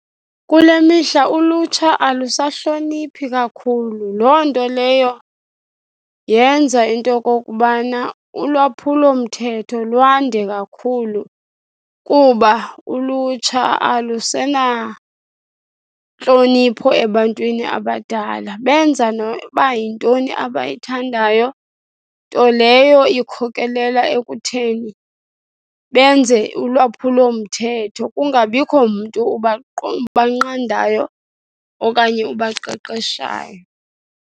Kule mihla ulutsha alusahloniphi kakhulu. Loo nto leyo yenza into yokokubana ulwaphulomthetho lwande kakhulu kuba ulutsha alusenantlonipho ebantwini abadala. Benza noba yintoni abayithandayo, nto leyo ikhokelela ekutheni benze ulwaphulomthetho, kungabikho mntu uba ubanqandayo okanye ubaqeqeshayo.